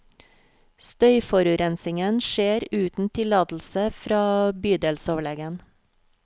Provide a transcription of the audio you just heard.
Støyforurensingen skjer uten tillatelse fra bydelsoverlegen.